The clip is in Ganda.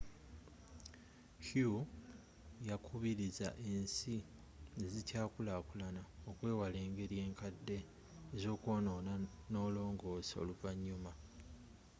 hu yakubirizza ensi ezikyaakulakulana okwewala engeri enkadde ez’okwoonoona n’olongosa oluvanyuma.